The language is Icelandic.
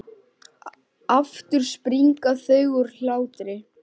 Aftur springa þau úr hlátri.